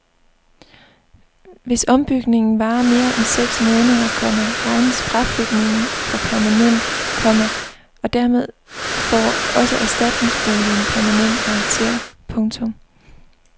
Hvis ombygningen varer mere end seks måneder, komma regnes fraflytningen for permanent, komma og dermed får også erstatningsboligen permanent karakter. punktum